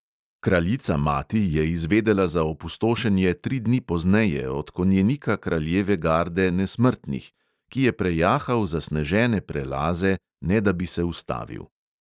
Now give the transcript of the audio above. Kraljica mati je izvedela za opustošenje tri dni pozneje od konjenika kraljeve garde nesmrtnih, ki je prejahal zasnežene prelaze, ne da bi se ustavil.